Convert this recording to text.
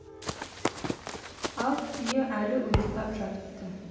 ал түйе әлі ұйықтап жатыпты